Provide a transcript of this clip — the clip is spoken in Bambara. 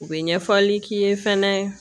U bɛ ɲɛfɔli k'i ye fɛnɛ